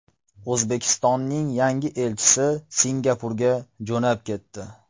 O‘zbekistonning yangi elchisi Singapurga jo‘nab ketdi.